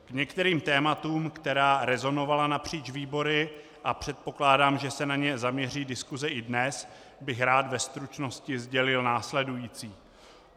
K některým tématům, která rezonovala napříč výbory, a předpokládám, že se na ně zaměří diskuse i dnes, bych rád ve stručnosti sdělil následující.